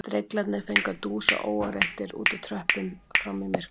Dreglarnir fengu að dúsa óáreittir úti á tröppum fram í myrkur